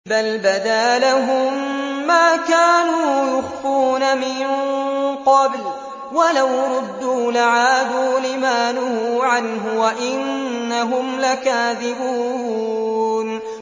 بَلْ بَدَا لَهُم مَّا كَانُوا يُخْفُونَ مِن قَبْلُ ۖ وَلَوْ رُدُّوا لَعَادُوا لِمَا نُهُوا عَنْهُ وَإِنَّهُمْ لَكَاذِبُونَ